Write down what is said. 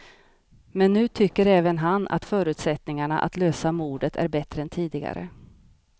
Men nu tycker även han att förutsättningarna att lösa mordet är bättre än tidigare.